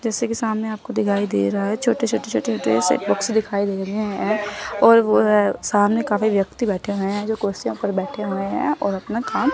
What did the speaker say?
जैसे कि सामने आपको दिखाई दे रहा है छोटे-छोटे-छोटे-छोटे से बॉक्स दिखाई दे रहे हैं और वो सामने काफी व्यक्ति बैठे हुए हैं जो कुर्सियों पर बैठे हुए हैं और अपना काम --